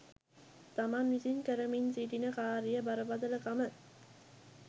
තමන් විසින් කරමින් සිටින කාරියේ බරපතල කම